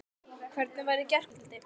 Hvernig var í gærkvöldi?